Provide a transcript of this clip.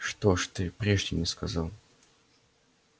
что ж ты прежде не сказал